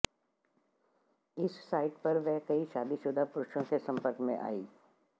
इस साइट पर वह कई शादीशुदा पुरुषों के संपर्क में आईं